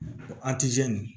Ko